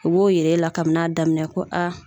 U b'o yira e la kabini a daminɛ ko a